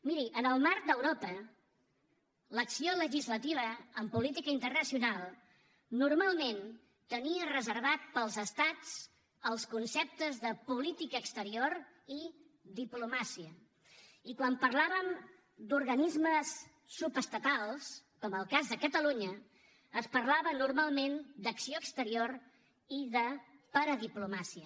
miri en el marc d’europa l’acció legislativa en política internacional normalment tenia reservats per als estats els conceptes de política exterior i diplomàcia i quan parlàvem d’organismes subestatals com en el cas de catalunya es parlava normalment d’ acció exterior i de paradiplomàcia